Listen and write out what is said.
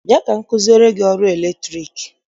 Bịa ka m kụziere gị ọrụ latriki!